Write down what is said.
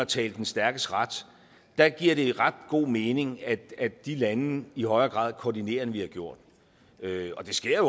tale den stærkes ret giver det ret god mening at de lande i højere grad koordinerer end de har gjort og det sker jo